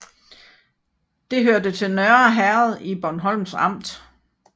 Det hørte til Nørre Herred i Bornholms Amt